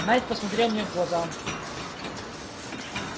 найд посмотрел мне в глаза